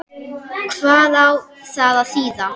Hvað á það að þýða?